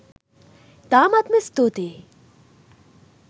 ඉතාමත්ම ස්තුතියි